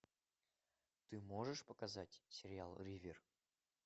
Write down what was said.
ты можешь показать сериал ривер